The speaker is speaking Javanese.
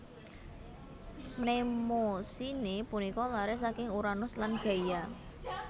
Mnemosine punika laré saking Uranus lan Gaia